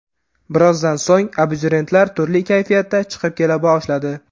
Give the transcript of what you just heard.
Birozdan so‘ng, abituriyentlar turli kayfiyatda chiqib kela boshladi.